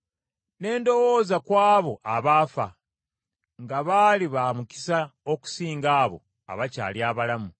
Ne ndowooza ku abo abaafa, nga baali ba mukisa okusinga abo abakyali abalamu;